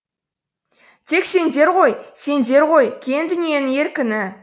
тек сендер ғой сендер ғойкең дүниенің еркіні